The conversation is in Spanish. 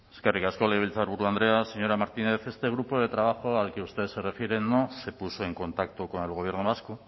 eskerrik asko legebiltzarburu andrea señora martínez este grupo de trabajo al que usted se refiere no se puso en contacto con el gobierno vasco